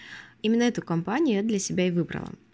именно эту компанию я для себя и выбрала